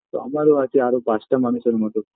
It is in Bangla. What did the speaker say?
তো আমার ও আছে আরও পাঁচটা মানুষের মতো